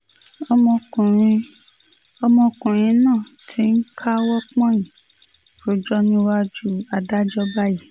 ọmọkùnrin ọmọkùnrin náà ti ń káwọ́ pọ̀nyìn rojọ́ níwájú adájọ́ báyìí